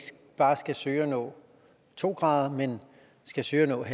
bare skal søge at nå to grader men skal søge at nå